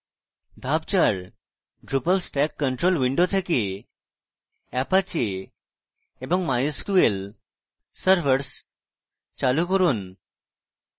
ধাপ 4: drupal stack control window থেকে apache এবং mysql servers চালু করুন